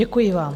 Děkuji vám.